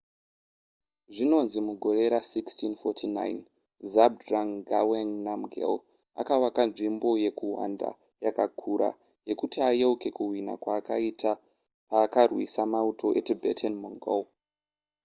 zvinonzi mugore ra1649 zhabdrung ngawang namgyel akavaka nzvimbo yekuhwanda yakakura yekuti ayeuke kuhwina kwaakaita paakarwisa mauto etibetan-mongol